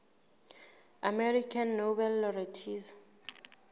american nobel laureates